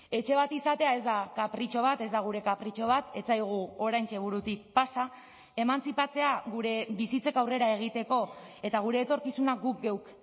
etxe bat izatea ez da kapritxo bat ez da gure kapritxo bat ez zaigu oraintxe burutik pasa emantzipatzea gure bizitzak aurrera egiteko eta gure etorkizuna guk geuk